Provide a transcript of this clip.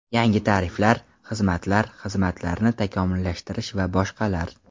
Yangi tariflar, xizmatlar, xizmatlarni takomillashtirish va boshqalar!